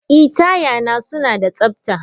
Ee, taya na suna da tsabta.